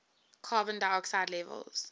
carbon dioxide levels